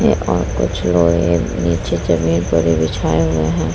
है और कुछ लोहे नीचे जमीन पर भी बिछाए हुए हैं।